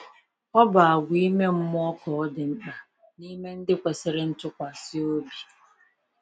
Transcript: Ọ bụ àgwà ime mmụọ ka ọ dị mkpa n’ime ndị kwesịrị ntụkwasị obi.